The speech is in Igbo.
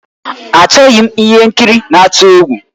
Achọghị m ihe nkiri na-atụ egwu